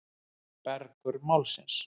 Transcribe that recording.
Mergur Málsins.